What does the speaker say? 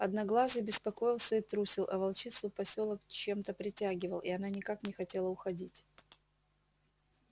одноглазый беспокоился и трусил а волчицу посёлок чем то притягивал и она никак не хотела уходить